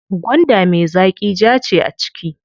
Gwanda me zaƙi jaa ce a ciki.